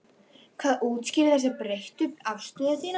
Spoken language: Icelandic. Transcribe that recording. Hvað útskýrir þessa breyttu afstöðu þína?